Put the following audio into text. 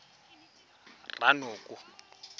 ranoko